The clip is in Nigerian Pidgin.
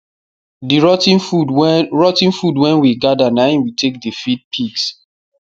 the rot ten food wen rot ten food wen we gather na im we take dey feed pigs